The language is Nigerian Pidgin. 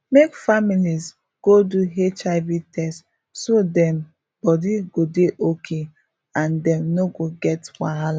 make families go do hiv test so dem body go dey okay and dem no go get wahala